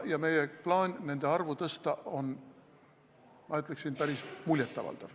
Meie plaan nende arvu tõsta on, ma ütleksin, päris muljet avaldav.